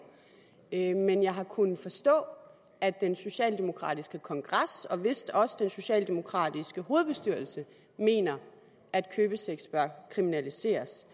en men jeg har kunnet forstå at den socialdemokratiske kongres og vistnok også den socialdemokratiske hovedbestyrelse mener at købesex bør kriminaliseres